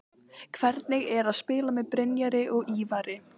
Hvernig er að spila með Brynjari og Ívari?